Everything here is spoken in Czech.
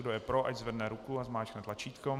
Kdo je pro, ať zvedne ruku a zmáčkne tlačítko.